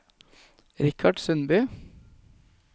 Richard Sundby